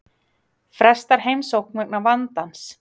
Frestar heimsókn vegna vandans